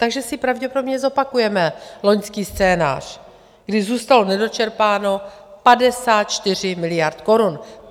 Takže si pravděpodobně zopakujeme loňský scénář, kdy zůstalo nedočerpáno 54 miliard korun;